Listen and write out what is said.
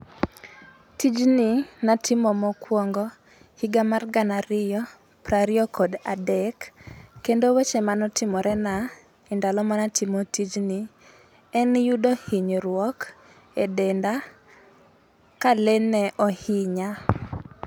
Tijni natimo mokwongo higa mar gana ariyo, piero ariyo kod adek. Kendo weche mane otimore na e ndalo mane atimo tijni, en yudo hinyruok e denda, ka le ne ohinya.